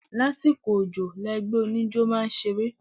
Lásìkò òjò ni ẹgbẹ́ oníjó máa ń ṣeré.